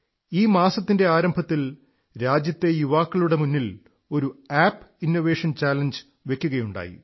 ഈ മാസത്തിന്റെ ആരംഭത്തിൽ രാജ്യത്തെ യുവാക്കളുടെ മുന്നിൽ ഒരു ആപ് ഇന്നോവേഷൻ ചലഞ്ച് വയ്ക്കുകയുണ്ടായി